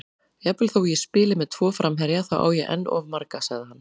Jafnvel þó ég spili með tvo framherja, þá á ég enn of marga, sagði hann.